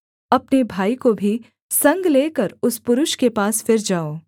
अपने भाई को भी संग लेकर उस पुरुष के पास फिर जाओ